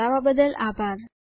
જોડાવા બદ્દલ આભાર